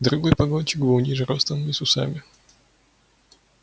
другой погонщик был ниже ростом и с усами